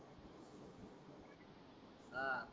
आह